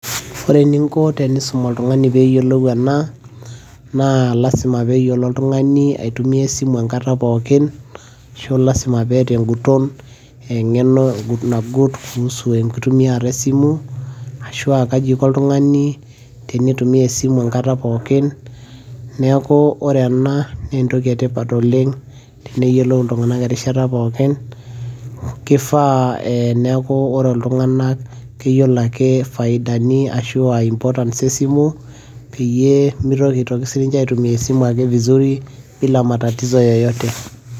ore eninko tenisum oltungani pee eyiolou ena, naa lasima pee eyiolou oltungani aitumia esimu enkata pookin, ashu lasima peeta eng'uton, engeno nagut kuusu enkitumiata esimu, ashu kaji iko oltungani tenitumia esimu enkata pookin. neeku ore ena na entoki etipat oleng, teneyiolou iltunganak erishata pookin. kifaa neeku ore iltunganak, keyiolo ake ifaidani ashu aa importants esimu, peyie mitoki sii ninche aitumia esimu ake vizuri bila matatatizo ake yeyote.